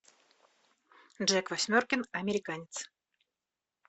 джек восьмеркин американец